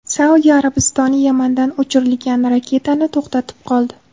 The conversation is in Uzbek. Saudiya Arabistoni Yamandan uchirilgan raketani to‘xtatib qoldi.